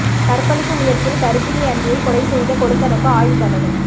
கற்பழிப்பு முயற்சியில் கர்ப்பிணி அண்ணியை கொலை செய்த கொழுந்தனுக்கு ஆயுள் தண்டனை